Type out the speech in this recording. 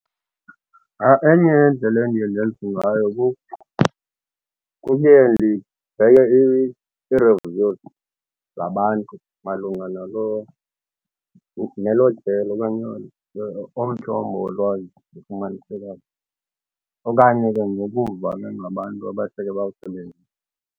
Enye yeendlela endiye ndenze ngayo kukuye ndibheke i-reviews zabantu malunga nalo nelo jelo okanye olo mthombo wolwazi ufumanisekayo okanye ke nokuva ke ngabantu abaseke bawusebenzise.